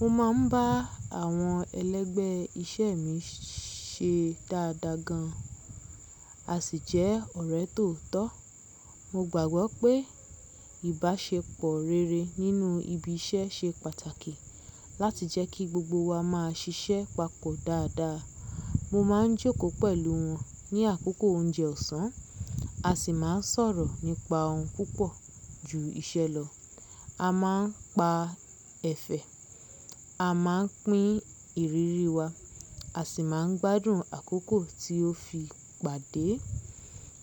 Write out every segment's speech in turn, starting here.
Mo máa ń bá àwọn ẹlẹ́gbẹ́ iṣẹ́ mi ṣe dáadáa gan, a sì jẹ́ ọ̀rẹ́ tòótọ́. Mo gbàgbọ́ pé ìbáṣepọ̀ rere nínú ibi iṣẹ́ ṣe pàtàkì láti jẹ́ kí gbogbo wa máa ṣiṣẹ́ papọ̀ dáadáa. Mo máa ń jókòó pẹ̀lú wọn ní àkókò oúnjẹ ọ̀sán, a sì máa ń sọ̀rọ̀ nípa ohun púpọ̀ ju iṣẹ́ lọ. A máa ń pa ẹ̀fẹ̀, a máa ń pín ìrírí wa, a sì máa ń gbádùn àkókò tí ó fi pàdé.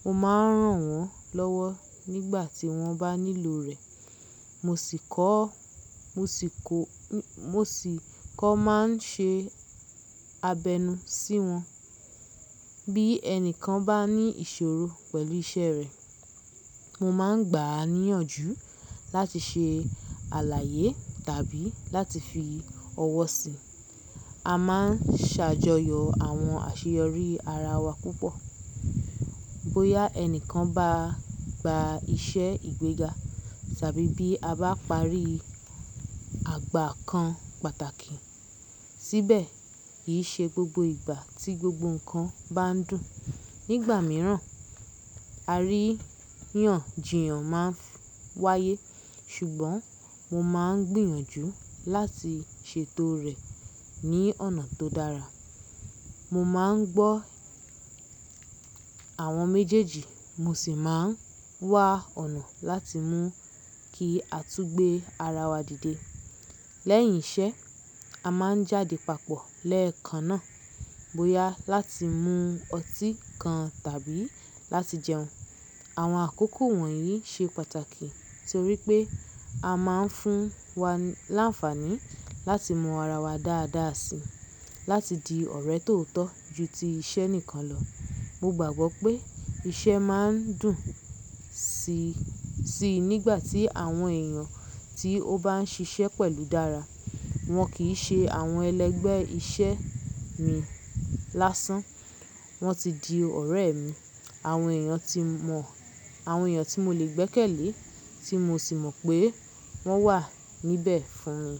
Mo máa ń ràn wọ́n lọ́wọ́ nígbà tí wọ́n bá nílò rẹ̀, mo sì kọ́, mo sì kó, mo sì kọ́ máa ń ṣe abẹnú sí wọn. Bí ẹnìkan bá ní ìṣòro pẹ̀lú iṣẹ́ rẹ̀, mo máa ń gbà á níyànjú láti ṣe àlàyé tàbí láti fi ọwọ́ sí i. A máa ń ṣàjọyọ̀ àwọn àṣeyọrí ara wa púpọ̀. Bóyá ẹnìkan bá gba iṣẹ́ ìgbéga tàbí bí a bá parí àgbà kan pàtàkì. Síbẹ̀, kì í ṣe gbogbo ìgbà tí gbogbo nǹkan bá ń dùn. Nígbà mìíràn, àríyànjiyàn máa ń wáyé, ṣùgbọ́n mo máa ń gbìyànjú láti ṣètò rẹ̀ ní ọ̀nà tó dára. Mo máa ń gbọ́ àwọn méjèèjì, mo sì máa ń wá ọ̀nà láti mú kí a tún gbé ara wa dìde. Lẹ́yìn iṣẹ́, a máa ń jáde papọ̀ lẹ́ẹ̀kan náà, bóyá láti mú ọtí kan tàbí láti jẹun. Àwọn àkókò wọ̀nyí ṣe pàtàkì torí pé a máa ń fún wa láǹfààní láti mọ ara wa dáadáa si, láti di ọ̀rẹ́ tòótọ́ ju ti iṣẹ́ nìkan lọ. Mo gbàgbọ́ pé iṣẹ́ máa ń dùn si, si nígbà tí àwọn èèyàn tí o bá ń ṣiṣẹ́ pẹ̀lú dára. Wọn kì í ṣe àwọn ẹlẹ́gbẹ́ iṣẹ́ mi lásán; wọ́n ti di ọ̀rẹ́ mi, àwọn èèyàn tí mọ̀, àwọn èèyàn tí mo lè gbẹ́kẹ̀lé, tí mo sì mọ̀ pé wọ́n wà níbẹ̀ fún mi.